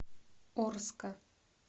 орска